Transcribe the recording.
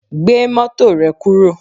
Gbé mọ́tò rẹ kúrò